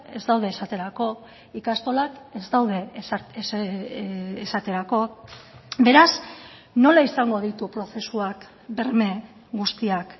ez daude esaterako ikastolak ez daude esaterako beraz nola izango ditu prozesuak berme guztiak